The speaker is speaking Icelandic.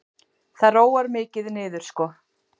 Það róar mikið niður sko.